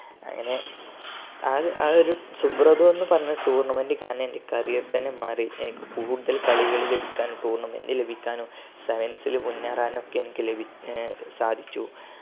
അങ്ങനെ ആ ആ ഒരു ശുഭ്രത എന്നു പറഞ്ഞ tournament കാരണം എൻറെ career തന്നെ മാറി എനിക്ക് കൂടുതൽ കളികൾ ലഭിക്കാനും tournament ലഭിക്കാനും science ല് മുന്നേറാനും ഒക്കെ എനിക്ക് സാധിച്ചു